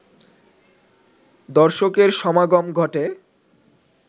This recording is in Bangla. দর্শকের সমাগম ঘটে